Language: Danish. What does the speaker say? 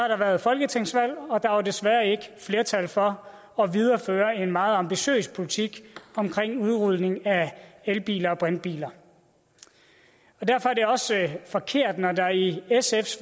der været folketingsvalg og der var desværre ikke flertal for at videreføre en meget ambitiøs politik om udrulning af elbiler og brintbiler derfor er det også forkert når der i sfs